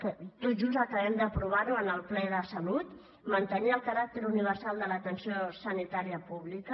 que tot just acabem d’aprovar ho en el ple de salut mantenir el caràcter universal de l’atenció sanitària pública